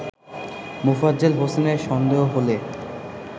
মোফাজ্জেল হোসেনের সন্দেহ হলে